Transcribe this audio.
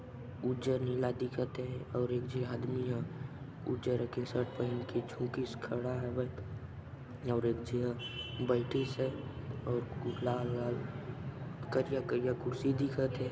उजर नीला दिखत हे और एक झि आदमी ह उजर रंग के शर्ट पहन के से खड़ा है और एक झी ह बैठीसे अऊ लाल लाल करिया करिया कुर्सी दिखथ हे।